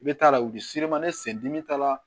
I bɛ t'a la u bɛ ne sen dimi t'a la